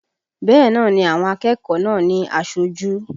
Bẹ́ẹ̀ náà ni àwọn akẹ́kọ̀ọ́ náà ní aṣojú